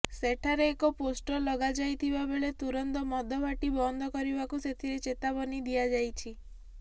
ସେଠାରେ ଏକ ପୋଷ୍ଟର ଲଗାଯାଇଥିବାବେଳେ ତୁରନ୍ତ ମଦ ଭାଟି ବନ୍ଦ କରିବାକୁ ସେଥିରେ ଚେତାବନୀ ଦିଆଯାଇଛି